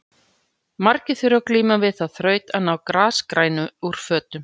Margir þurfa að glíma við þá þraut að ná grasgrænu úr fötum.